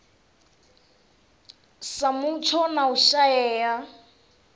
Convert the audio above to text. sa mutsho na u shaea